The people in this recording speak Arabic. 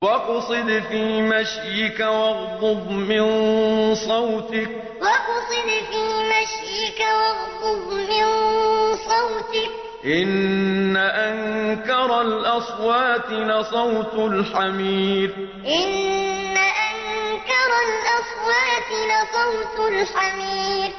وَاقْصِدْ فِي مَشْيِكَ وَاغْضُضْ مِن صَوْتِكَ ۚ إِنَّ أَنكَرَ الْأَصْوَاتِ لَصَوْتُ الْحَمِيرِ وَاقْصِدْ فِي مَشْيِكَ وَاغْضُضْ مِن صَوْتِكَ ۚ إِنَّ أَنكَرَ الْأَصْوَاتِ لَصَوْتُ الْحَمِيرِ